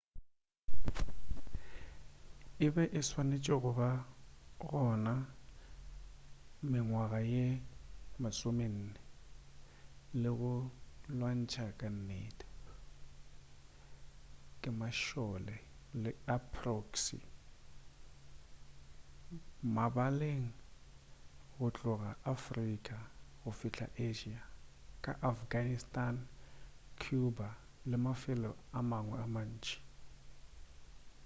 e be e swanetše go ba gona mengwaga ye 40 le go lwantšhwa ka nnete ke mašole a proxy mabaleng go tloga afrika go fihla asia ka afghanistan cuba le mafelo a mangwe a mantši